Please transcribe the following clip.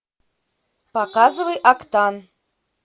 показывай октан